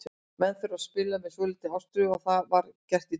Menn þurfa að spila með svolítilli ástríðu og það var gert í dag.